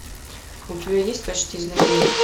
у тебя есть почти знаменит